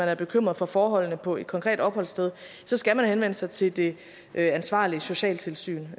er bekymret for forholdene på et konkret opholdssted så skal man henvende sig til det ansvarlige socialtilsyn